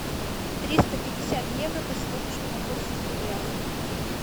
триста пятьдесят евро по сегодняшнему курсу в рублях